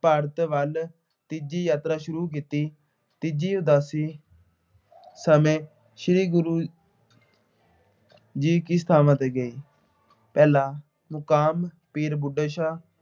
ਭਾਰਤ ਵੱਲ ਤੀਜੀ ਯਾਤਰਾ ਸ਼ੁਰੂ ਕੀਤੀ। ਤੀਜੀ ਉਦਾਸੀ ਸਮੇਂ ਸ੍ਰੀ ਗੁਰੂ ਜੀ ਕਿਸ ਥਾਵਾਂ ਤੇ ਗਏ। ਪਹਿਲਾ ਮੁਕਾਮ ਪੀਰ ਬੁੱਢਾ ਸ਼ਾਹ,